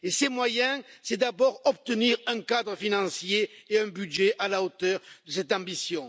Et ces moyens, c'est d'abord obtenir un cadre financier et un budget à la hauteur de cette ambition.